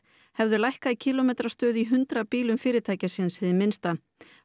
hefðu lækkað kílómetrastöðu í hundrað bílum fyrirtækisins hið minnsta